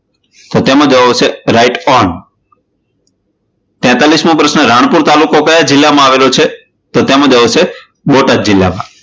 તો તેમાં જવાબ આવશે write ok તેત્તાલીશ મો પ્રશ્ન, રાણપુર તાલુકો કયા જિલ્લામાં આવેલ છે? તો તેમાં જવાબ આવશે બોટાદ જિલ્લા માં.